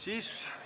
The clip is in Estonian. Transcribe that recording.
Ei ole!